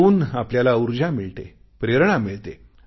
त्यातून आपल्याला ऊर्जा मिळते प्रेरणा मिळते